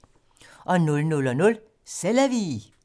00:00: C'est la vie!